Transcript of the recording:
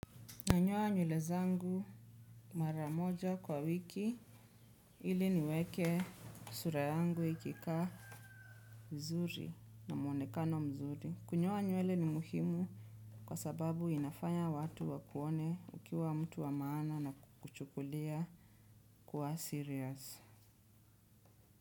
Nanyoa nywele zangu mara moja kwa wiki ili niweke sura yangu ikikaa mzuri na muonekano mzuri. Kunyoa nywele ni muhimu kwa sababu inafanya watu wakuone ukiwa mtu wa maana na kuchukulia kwa serious.